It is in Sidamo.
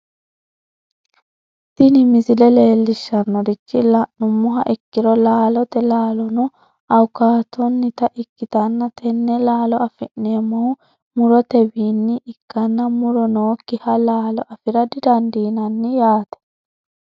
tini misile leellishshannorichi la'nummoha ikkiro laalote laalono awukaatonnita ikkitanna tenne laalo afi'neemmohu murote wiinni ikkanna muro nookkiha laalo afira didandiinanni yaate.